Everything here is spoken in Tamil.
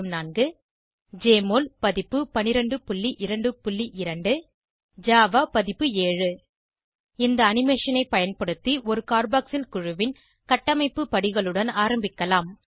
1204 ஜெஎம்ஒஎல் பதிப்பு 1222 ஜாவா பதிப்பு 7 இந்த அனிமேஷன் ஐ பயன்படுத்தி ஒரு கார்பாக்சில் குழுவின் கட்டமைப்பு படிகளுடன் ஆரம்பிக்கலாம்